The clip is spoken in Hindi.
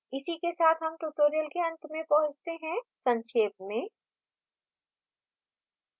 इसी के साथ हम tutorial के अंत में पहुँचते हैं संक्षेप में